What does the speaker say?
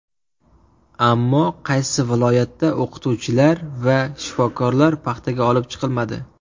Ammo qaysi viloyatda o‘qituvchilar va shifokorlar paxtaga olib chiqilmadi?